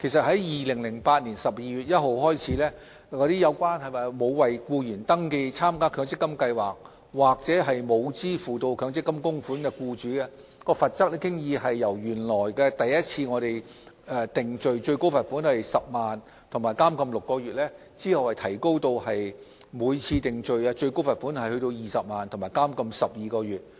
自2008年12月1日起，針對沒有為僱員登記參加強積金計劃或沒有支付強積金供款的僱主，罰則已由首次定罪最高罰款10萬元及監禁6個月，提高至每次定罪最高罰款20萬元及監禁12個月。